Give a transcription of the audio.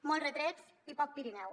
molt retrets i poc pirineu